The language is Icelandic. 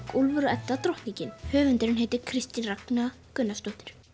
Úlfur og Edda drottningin höfundurinn heitir Kristín Ragna Gunnarsdóttir